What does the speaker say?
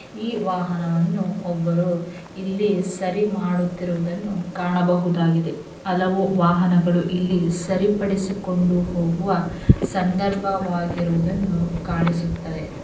ಈ ವಾಹನವನ್ನು ಒಬ್ಬರು ಇಲ್ಲಿ ಸರಿ ಮಾಡುತ್ತಿರುವುದನ್ನು ಕಾಣಬಹುದಾಗಿದೆ. ಹಲವು ವಾಹನಗಳು ಇಲ್ಲಿ ಸರಿಪಡಿಸಿಕೊಂಡು ಹೋಗುವ ಸಂದರ್ಭವಾಗಿರುವುದನ್ನು ಕಾಣಿಸುತ್ತಾ ಇದೆ.